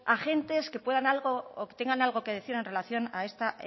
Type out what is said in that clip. agentes que tengan algo que decir en relación a esta